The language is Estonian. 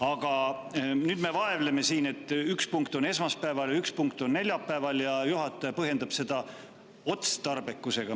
Aga nüüd me vaevleme siin sellepärast, et üks punkt on esmaspäeval ja üks punkt on neljapäeval, ning juhataja põhjendab seda otstarbekusega.